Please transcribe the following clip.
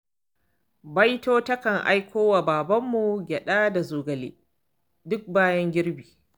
Baito takan aiko wa babarmu gyaɗa da zogale duk bayan girbi.